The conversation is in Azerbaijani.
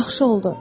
Yaxşı oldu.